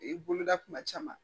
I boloda kuma caman